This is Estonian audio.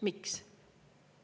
Miks?